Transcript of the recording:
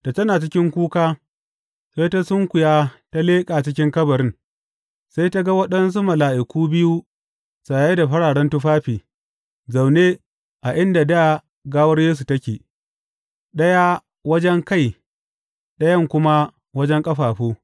Da tana cikin kuka, sai ta sunkuya ta leƙa cikin kabarin, sai ta ga waɗansu mala’iku biyu saye da fararen tufafi, zaune a inda dā gawar Yesu take, ɗaya wajen kai ɗayan kuma wajen ƙafafu.